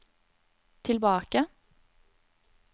tilbake